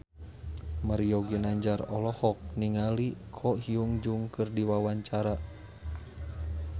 Mario Ginanjar olohok ningali Ko Hyun Jung keur diwawancara